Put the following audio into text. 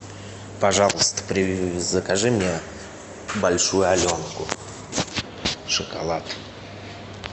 пожалуйста закажи мне большую аленку шоколад